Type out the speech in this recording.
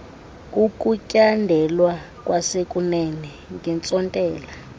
ukutyandelwa kwasekunene ngentsontela